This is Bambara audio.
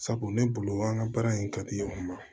Sabu ne bolo an ka baara in ka di o ma